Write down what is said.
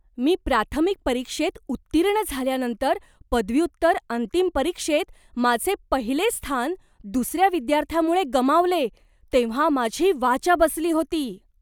मी प्राथमिक परीक्षेत उत्तीर्ण झाल्यानंतर पदव्युत्तर अंतिम परीक्षेत माझे पहिले स्थान दुसऱ्या विद्यार्थ्यामुळे गमावले तेव्हा माझी वाचा बसली होती.